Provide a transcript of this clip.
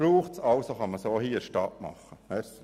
Deshalb können diese auch in der Stadt erstellt werden.